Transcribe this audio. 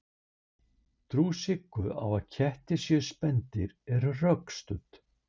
Trú Siggu á að kettir séu spendýr er rökstudd.